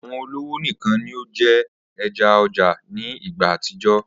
Awọn ọlọwo nikan ni o jẹ ẹja ọja ni igba atijọ.